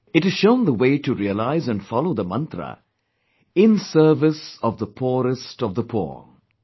It has shown the way to realize & follow the mantra, 'In service of the poorest of the poor'